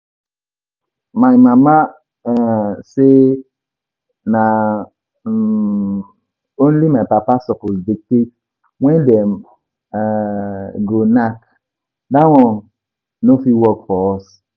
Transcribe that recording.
My mama um say na um only my papa suppose dictate when dem um go knack, dat one no fit work for us